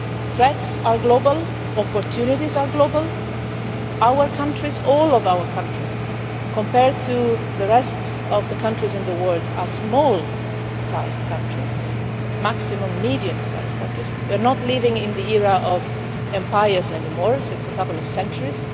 Threats are global, opportunities are global, all of our countries, compared to the rest of the countries in the world, are small sized countries, at the maximum medium sized countries. We are not living in the era of empires anymore, not for a couple of centuries.